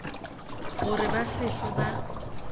gore ba se hlwe ba